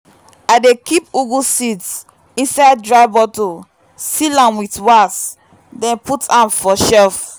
i dey keep ugwu seeds inside dry bottle seal am with wax then put am for shelf.